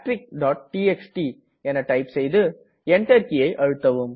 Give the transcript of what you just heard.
TXT type செய்து Enter கீயை அழுத்தவும்